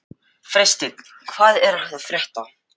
Freysteinn, hvað er að frétta?